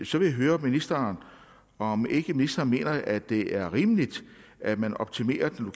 så vil jeg høre ministeren om ministeren ikke mener at det er rimeligt at man optimerer den